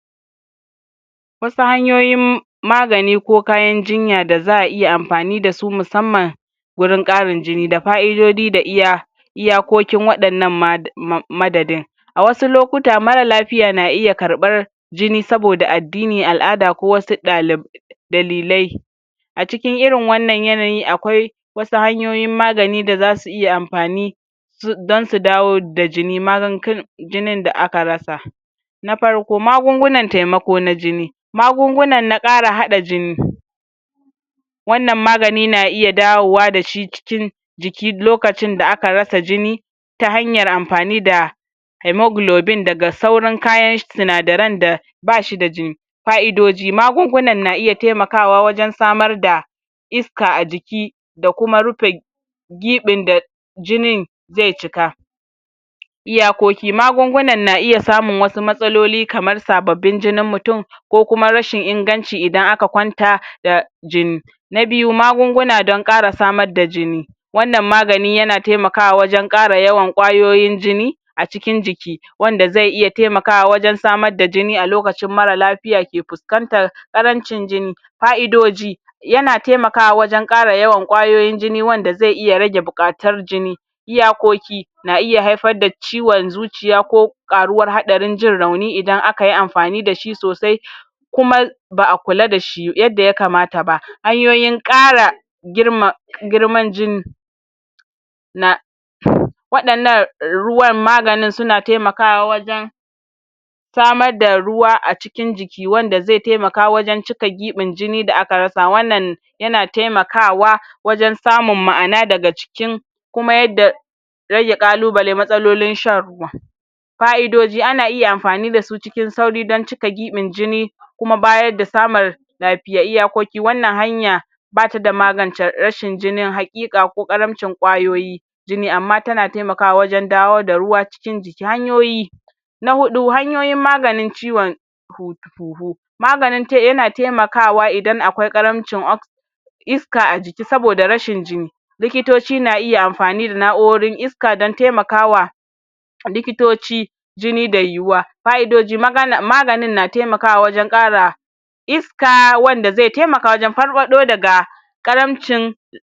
wasu hanyoyin nagani ko kayan jinya da za iya anfani dasu na musamman gurin ƙarin jini da fa'idodi da iya iyakokin waɗannan ma[um] madadin a wasu lokuta mara lafiya na iya karɓar jini saboda addini, al'ada da wasu dali dalilai acikin irin wanan yanayi akwai wasu hanyoyin magani da zasu iya anfani su don su dawo da jini jinin da aka rasa na farko magungunan temako na jini magunguna na ƙara haɗa jini wanan magani na iya dawowa dashi cikin jiki lokacin da aka rasa jini ta hanyar anfani da heamoglobin daga sauran kayan sinadaren da bashi da jini fa'idoji, magungunan na iya temakawa wajan samad da iska ajiki da kuma rupe giɓin da jijin ze cika iyakoki wasu magungunan na iya samun wasu matsaloli kamar sababbin jijni mutun ko kuma rashin inganci idan aka kwanta da jini na biyu magunguna don ƙara samad da jini wanan magani yana temakawa wajan ƙara ƙwayoyin jini acikin jiki wanda ze iya temakawa wajan samad da jini a lokacin mara lafiya ke fuskntar ƙarancin jini fa'idoji yana temakawa wajan ƙara yawan ƙwayoyin jini wanda ze iya rage buƙatun jini iyakoki na iya haifar da ciwon zuiya ko ƙaruwan haɗarin jin rauni idan akayi anfani dashi sosai kuma ba'a kula da shi yadda ya kamata ba hanyoyin ƙara girma girman jini na wadannan ruwan maganin suna temakawa wajan samar da ruwa acikin jiki wanda da ze temaka wajan cika giɓin jini da aka rasa wanan yana temakawa wajan samun ma'ana daga cikin kuma yadda rage ƙalubale, matsalolin shan ruwa fa'idoji ana iya anfani da su wajan cika giɓin jini kuma bayar da samun lapiya wanan hanya bata da maganta rashin jini haƙiƙai ko ƙaramcin ƙwayoyi jini amma tana temakawa wajan dawo da ruwa cikin jiki hanyoyi hanyoyin maganin ciwon hut[um] huhu maganin te[um] yana temakawa idan akwai ɗaramcin ox iska ajiki saboda rashin jini likitoci na iya anfani da na'urorin iska don temakawa likitoci jini da yuwa fa'idoji magana[um]` maganin na temakawa wajan ƙara is ka wanda ze temaka wajan farfaɗo daga ƙaramcin